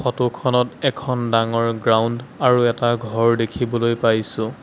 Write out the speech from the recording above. Photo খনত এখন ডাঙৰ গ্ৰাউণ্ড আৰু এটা ঘৰ দেখিবলৈ পাইছোঁ।